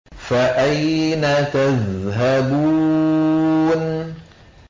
فَأَيْنَ تَذْهَبُونَ